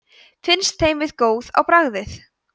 finnst þeim við góð á bragðið